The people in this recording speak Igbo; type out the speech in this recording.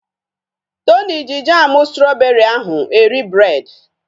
Tony ji jamu strọbeeri ahụ eri breed